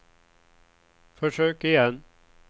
försök igen